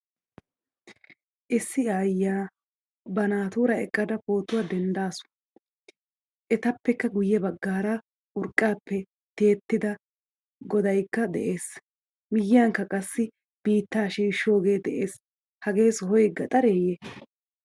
Issi aayiyaa ba naatura eqqada pootuwaa denddasu. Etappekka guye baggaara urqqappe tiyettida goodaykka de'ees. Miyiyankka qassi biitta shiishoge de'ees. Hagee sohoy gaxareye?